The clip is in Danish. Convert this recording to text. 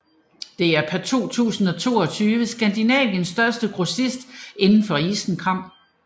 Det er per 2022 Skandinaviens største grossist inden for isenkram